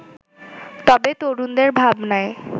তবে তরুণদের ভাবনায়